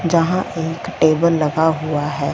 जहां एक टेबल लगा हुआ है।